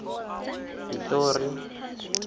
pitori